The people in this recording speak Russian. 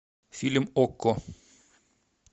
фильм окко